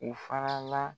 U fana la